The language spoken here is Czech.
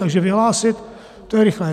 Takže vyhlásit to je rychlé.